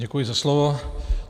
Děkuji za slovo.